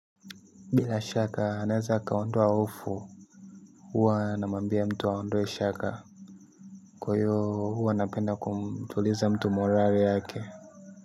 Bila shaka anaweza akaondoa hofu. Huwa namuambia mtu aondoe shaka. Kwa hio huwa napenda kumtuliza mtu morali yake.